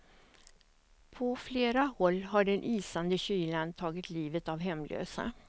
På flera håll har den isande kylan tagit livet av hemlösa.